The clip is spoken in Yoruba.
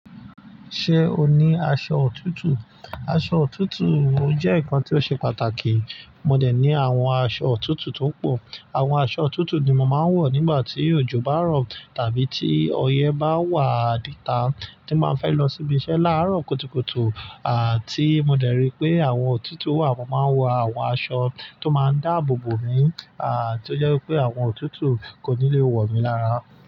Ṣé o ní aṣọ òtútù? Aṣọ òtútù o je nǹkan tó ṣe pàtàkì. Mò dẹ̀ ní àwọn aṣọ òtútù tó pọ̀. Àwọn aṣọ òtútù ni mò máa ń wọ̀ nígbà tí òjò bá rọ̀ tàbí tí ọyẹ́ bá wà nita tí n ba fẹ́ lọ síbi iṣẹ́ láàárọ̀ kùtùkùtù. À tí mò dẹ̀ rí pé àwọn òtútù wa mo máa n wọ àwọn aṣọ tó máa ń dáàbò bò mi. À tí ó jẹ́ pé àwọn òtútù kò ní le wọ̀ mí lára.